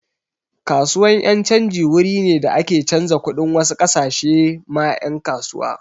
Kasuwan yan' canji wuri ne da ake canza kuɗin wasu kasashe ma yan' kasuwa.